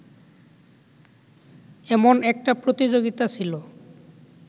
এমন একটা প্রতিযোগিতা ছিল